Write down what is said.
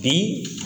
Bi